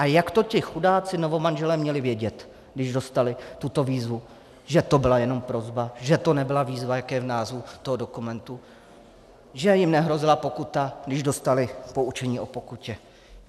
A jak to ti chudáci novomanželé měli vědět, když dostali tuto výzvu, že to byla jenom prosba, že to nebyla výzva, jak je v názvu toho dokumentu, že jim nehrozila pokuta, když dostali poučení o pokutě?